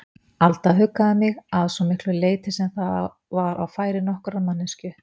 Alda huggaði mig, að svo miklu leyti sem það var á færi nokkurrar manneskju.